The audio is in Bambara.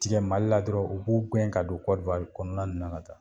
Tigɛ mali la dɔrɔn o b'u gɛn ka don kɔrɔwari kɔnɔna na la